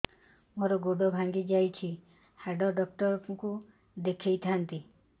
ମୋର ଗୋଡ ଭାଙ୍ଗି ଯାଇଛି ହାଡ ଡକ୍ଟର ଙ୍କୁ ଦେଖେଇ ଥାନ୍ତି